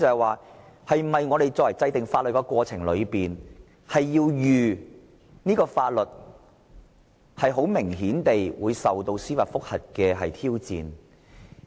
我想問在制定法律的過程中，是否必須作好法律會受到司法覆核挑戰的準備？